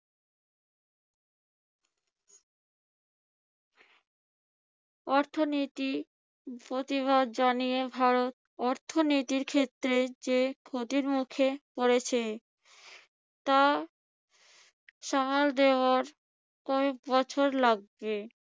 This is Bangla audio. অর্থনীতি প্রতিবাদ জানিয়ে ভারত অর্থনীতির ক্ষেত্রে যে ক্ষতির মুখে পড়েছে তা সামাল দেওয়া কয়েকবছর লাগবে।